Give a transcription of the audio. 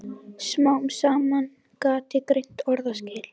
Smám saman gat ég greint orðaskil.